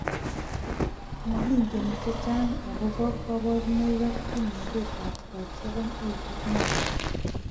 Mokingen chechang' akobo kaborunoik ak kimnatetab types 7, 8 ak 9